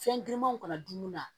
Fɛn girinmanw kana dunna